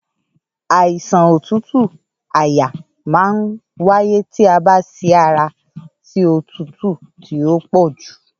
Àìsàn òtútù àyà ma n wáyé tí a bá sí ara sí òtútù tí ọ pọ jù